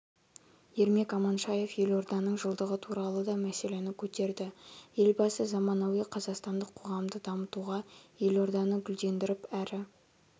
ермек аманшаев елорданың жылдығы туралы да мәселені көтерді елбасы заманауи қазақстандық қоғамды дамытуға елорданы гүлдендіріп әрі